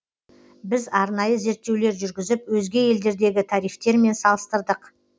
біз арнайы зерттеулер жүргізіп өзге елдердегі тарифтермен салыстырдық